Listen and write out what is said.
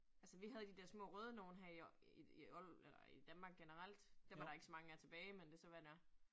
Altså vi havde de dér små røde nogle her i i eller i Danmark generelt. Dem er der ikke så mange af tilbage, men det så, hvad det er